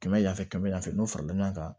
Kɛmɛ yanfɛ kɛmɛ yan fɛ n'o farala ɲɔgɔn kan